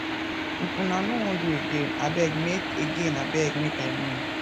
if una no wan do again abeg make again abeg make i know